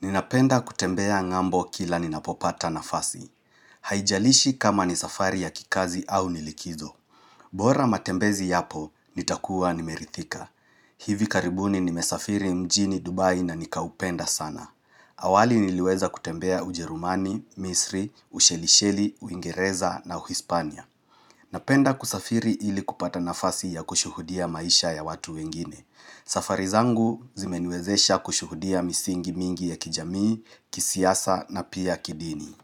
Ninapenda kutembea ng'ambo kila ninapopata nafasi. Haijalishi kama ni safari ya kikazi au nilikizo. Bora matembezi yapo, nitakuwa nimerithika. Hivi karibuni ni mesafiri mjini Dubai na nikaupenda sana. Awali niliweza kutembea ujerumani, misri, ushelisheli, uingereza na uhispania. Napenda kusafiri ili kupata nafasi ya kushuhudia maisha ya watu wengine. Safari zangu zimenwezesha kushuhudia misingi mingi ya kijami, kisiyasa na pia kidini.